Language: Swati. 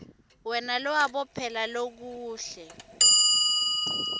wena lowabophela lokuhle